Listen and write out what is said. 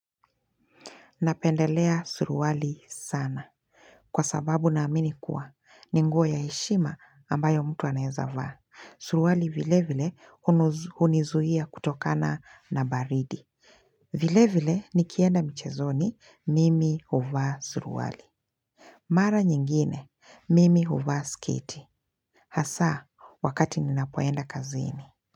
Napendelea suruali sana. Kwa sababu na amini kuwa, ni nguo ya heshima ambayo mtu anaweza vaa. Suruali vile vile hunizuia kutokana na baridi. Vile vile, nikienda mchezoni, mimi uvaa suruwali. Mara nyingine, mimi huvaa sketi. Hasa, wakati ninapoenda kazini.